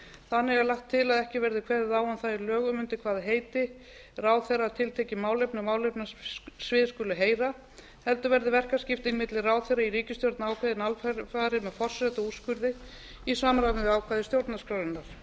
þannig er lagt til að ekki verði kveðið á um það í lögum undir hvaða heiti ráðherra tiltekinna málefnasvið skuli heyra heldur verði verkaskipting milli ráðherra í ríkisstjórn ákveðið alfarið með forsetaúrskurði í samræmi við ákvæði stjórnarskrárinnar